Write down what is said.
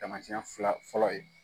Taamasiyɛn fila fɔlɔ ye.